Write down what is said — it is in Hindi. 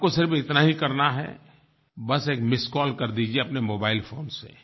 आपको सिर्फ़ इतना ही करना है बस एक मिस्ड कॉल कर दीजिए अपने मोबाइल फ़ोन से